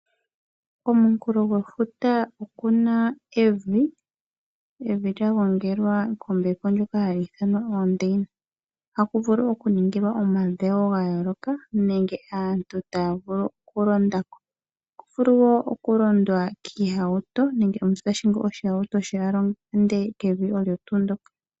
Komunkunkulo gwefuta okuna evi, evi lya gongelwa kombepo nyoka hayi ithanwa oondeyina, ohaku vulu okuningilwa omadhewo ga yooloka nenge aantu taya vulu okulonda ko, ohaku vulu wo okulondwa kiihauto nenge omuntu tahingi ohauto ye alonde kevi olyo tu ndyoka.